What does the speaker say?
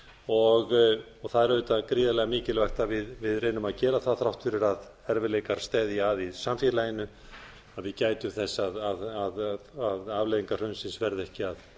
og það er auðvitað gríðarlega mikilvægt að við reynum að gera það þrátt fyrir að erfiðleikar steðji að í samfélaginu að við gætum þess að afleiðingar hrunsins verði ekki að